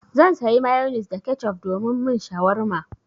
Zan sayi mayonis da kecof domin min shawarma.